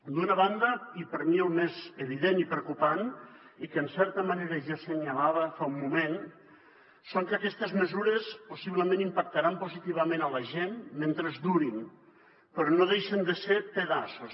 d’una banda i per mi el més evident i preocupant i que en certa manera ja assenyalava fa un moment és que aquestes mesures possiblement impactaran positivament en la gent mentre durin però no deixen de ser pedaços